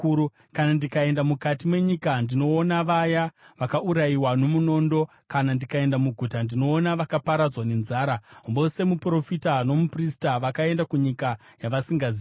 Kana ndikaenda mukati menyika, ndinoona vaya vakaurayiwa nomunondo; kana ndikaenda muguta, ndinoona vakaparadzwa nenzara. Vose, muprofita nomuprista vakaenda kunyika yavasingazivi.’ ”